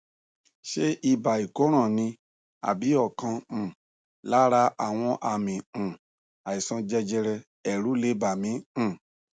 ṣé ibà ìkóràn ni àbí ọkan um lára àwọn àmì um àìsàn jẹjẹrẹ èrù lè bà mí um